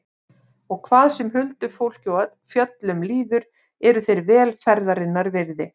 Og hvað sem huldufólki og fjöllum líður eru þeir vel ferðarinnar virði.